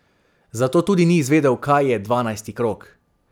Zato tudi ni izvedel, kaj je dvanajsti krog.